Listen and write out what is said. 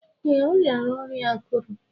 Ee, ọ riara ọrịa akuru.